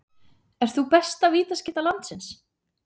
Ert þú besta vítaskytta landsins?